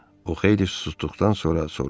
O xeyli susduqdan sonra soruşdu.